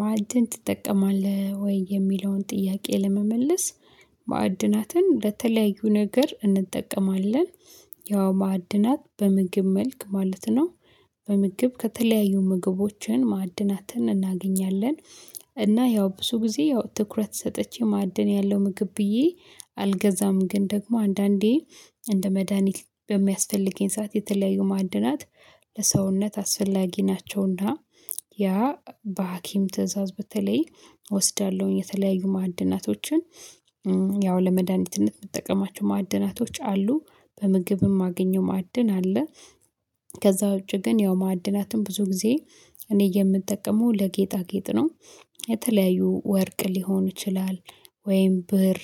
ማዕድን ትጠቀማለህ ወይ? የሚለውን ጥያቄ ለመመለስ ማዕድናትን ለተለያዩ ነገር እንጠቀማለን። ያው ማዕድናት በምግብ መልክ ማለት ነው። በምግብ ከተለያዩ ምግቦችን ማዕድናትን እናገኛለን። እና ያው ብዙ ጊዜ ያው ትኩረት ሰጥቼ ማዕድን ያለው ምግብ ብዬ አልገዛም። ግን ደግሞ አንዳንዴ እንደ መድሃኒት በሚያስፈልገኝ ሰዓት የተለያዩ ማዕድናት ለሰውነት አስፈላጊ ናቸውና። ያ በሀኪም ትእዛዝ በተለይ እወስዳለሁኝ የተለያዩ ማዕድናቶችን። ያው ለመድኃኒትነት የምጠቀማቸው ማዕድናቶች አሉ በምግብም ማግኘው ማዕድን አለ። ከዛ ውጪ ግን ያው ማዕድናትም ብዙ ጊዜ እኔ የምጠቀመው ለጌጣጌጥ ነው። የተለያዩ ወርቅ ሊሆን ይችላል ወይም ብር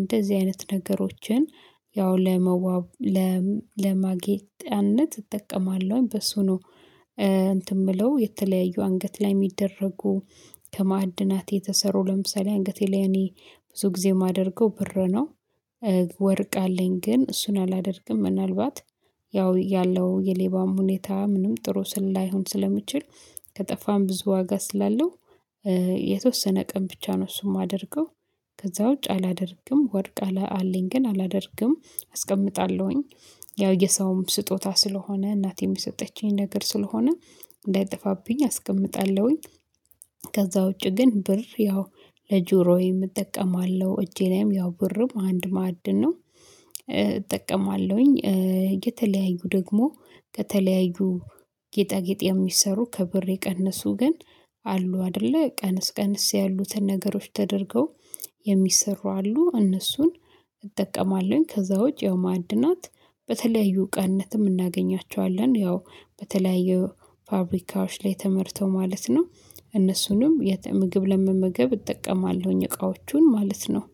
እንደዚህ አይነት ነገሮችን ያው ለመዋብ ለማጌጫነት እጠቀማለሁኝ በሱ ነው። እንትን የምለው የተለያዩ አንገት ላይ የሚደረጉ ከማዕድናት የተሰሩ ለምሳሌ አንገቴ ላይ እኔ ብዙ ጊዜ የማደርገው ብር ነው። ወርቅ አለኝ ግን እሱን አላደርግም። ምናልባት ያው ያለው የሌባም ሁኔታ ምንም ጥሩ ስላይሆን ስለሚችል ከጠፋን ብዙ ዋጋ ስላለው የተወሰነ ቀን ብቻ ነው እሱም የማደርገው። ከዛ ውጭ አላደርግም ወርቅ አላ አለኝ ግን አላደርግም አስቀምጣለሁኝ። ያው የሰውም ስጦታ ስለሆነ እናቴም የሰጠችኝ ነገር ስለሆነ እንዳይጠፋብኝ አስቀምጣለሁኝ። ከዛ ውጪ ግን ብር ያው ለጆሮዬ እጠቀማለሁ እጄ ላይም ያው ብርም አንድ ማዕድን ነው እጠቀማለሁኝ። የተለያዩ ደግሞ ከተለያዩ ጌጣጌጥ የሚሰሩ ከብር የቀነሱ ግን አሉ አይደለ ቀነስ ቀነስ ያሉትን ነገሮች ተደርገው የሚሰሩ አሉ እነሱን እጠቀማለሁኝ። ከዛ ውጪ ማዕድናት በተለያዩ እቃነትም እናገኛቸዋለን ያው በተለያዩ ፋብሪካዎች ላይ ተመርተው ማለት ነው። እነሱንም የት ምግብ ለመመገብ እጠቀማለሁኝ እቃዎቹን ማለት ነው